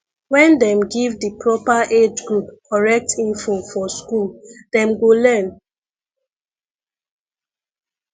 wen dem give di proper age group correct info for school dem go learn